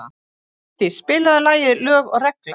Guðdís, spilaðu lagið „Lög og regla“.